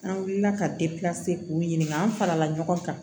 An wulila ka k'u ɲininka an farala ɲɔgɔn kan